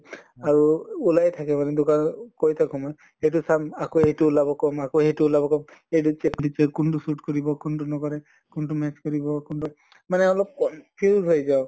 আৰু ওলাই থাকে মানে দোকানত কৈ থাকো মই। এইটো চাম আকৌ এইটো ওলাব কম আকৌ সেইটো ওলাব কম এইটো কোন টো suite কৰিব, কোন টো নকৰে। কোন টো match কৰিব কোন টো মানে অলপ সেই হৈ যাওঁ।